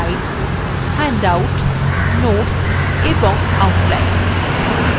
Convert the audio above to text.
slides handouts notes এবং outline